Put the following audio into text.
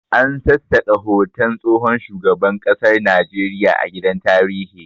An sassaka hoton tsohon shugaban kasar Najeriya a gidan tarihi